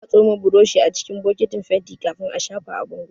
Ana tsoma burushi acikin bokitin fenti kafin a shafa a bango